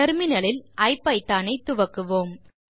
terminal இல் ஐபிதான் ஐ துவக்குவோம்